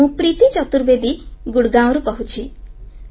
ମୁଁ ପ୍ରୀତି ଚତୁର୍ବେଦୀ ଗୁରଗାଓଁରୁ କହୁଛି